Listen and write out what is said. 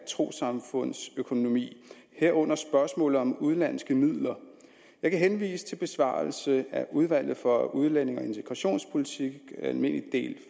trossamfunds økonomi herunder spørgsmålet om udenlandske midler jeg kan henvise til besvarelse af udvalget for udlændinge og integrationspolitik almindelig del